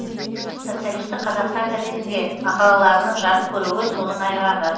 социалистік қазақстан газетінде мақалаларының жарық көруі соның айғағы